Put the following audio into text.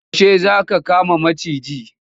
Yaushe za aka kama macijin?